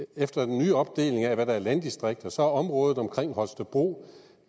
efter den nye opdeling af hvad der er landdistrikter så er området omkring holstebro